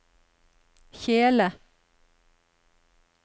kjele